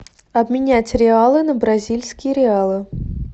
обменять реалы на бразильские реалы